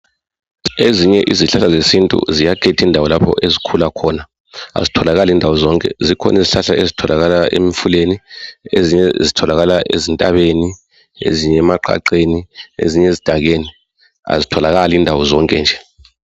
Ezinye izihlahla zesintu ziyakhetha indawo lapha ezikhula khona. Azitholakali ndawo zonke zikhona izihlahla ezitholakala emfuleni, ezinye zitholakale ezintabeni, ezinye emaqaqeni, ezinye ezidakeni azitholakali indawo zonke nje.